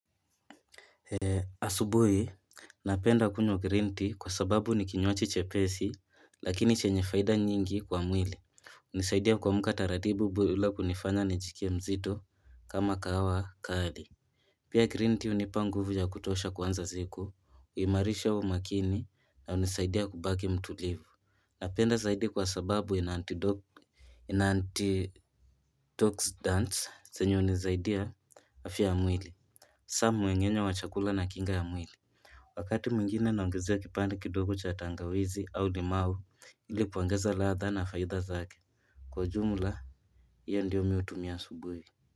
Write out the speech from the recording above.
Asubuhi, napenda kunywa green tea kwa sababu ni kinywaji chepesi lakini chenye faida nyingi kwa mwili nisaidia kuamka taratibu bili kunifanya nijiskie mzito kama kahawa kali Pia green tea hunipa nguvu ya kutosha kuanza siku, imarisha umakini na unisaidia kubaki mtulivu Napenda zaidi kwa sababu ina anti-dok ina anti-toxidants zanye unisaidia afya ya mwili Samu wengenye wa chakula na kinga ya mwili Wakati mwingine naongezea kipande kidogo cha tangawizi au limau ili kuangeza laadha na faidha zake Kwa jumla iyo ndiyo mi hutumia asubuhi.